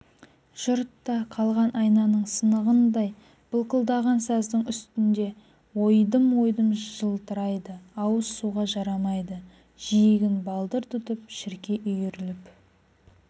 жұртта қалған айнаның сынығындай былқылдаған саздың үстінде ойдым-ойдым жылтырайды ауыз суға жарамайды жиегін балдыр тұтып шіркей үйіріліп